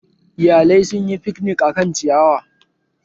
Iyalai sun yi fiknik a kan ciyawa